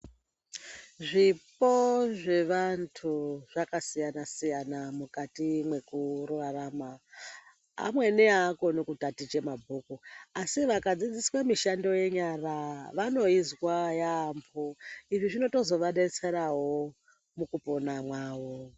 Zvipo zvevantu zvakasiyana-siyana mukati mwekurarama. Amweni aakoni kutaticha mabhuku ,asi vakadzidziswa mishando yenyara vanoizwa yaampho. Izvi zvinotozo vadetseravo mukupona mwavo.